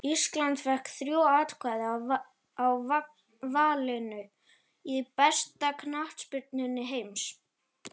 Ísland fékk þrjú atkvæði í valinu á besta knattspyrnumanni heims.